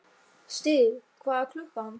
Styrr, hvað er klukkan?